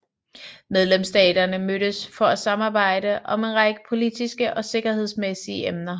Medlemsstaterne mødes for at samarbejde om en række politiske og sikkerhedsmæssige emner